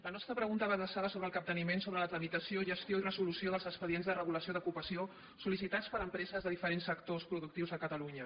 la nostra pregunta va adreçada sobre el capteniment sobre la tramitació gestió i resolució dels expedients de regulació d’ocupació sol·licitats per empreses de diferents sectors productius a catalunya